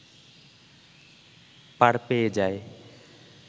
পার পেয়ে যায়